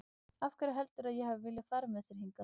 Af hverju heldurðu að ég hafi viljað fara með þér hingað?